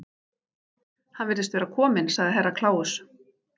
Hann virðist vera kominn, sagði Herra Kláus.